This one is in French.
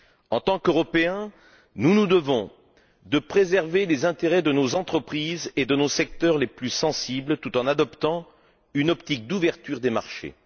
En tant qu'Européens, nous nous devons de préserver les intérêts de nos entreprises et de nos secteurs les plus sensibles, tout en adoptant une optique d'ouverture des marchés.